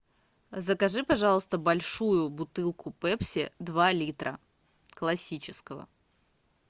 закажи пожалуйста большую бутылку пепси два литра классического